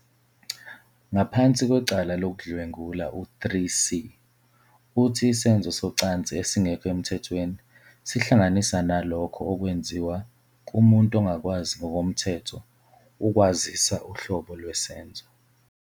Ngaphansi kwecala lokudlwengula, u-3, c, uthi isenzo socansi esingekho emthethweni sihlanganisa nalokho okwenziwa "kumuntu ongakwazi ngokomthetho ukwazisa uhlobo lwesenzo"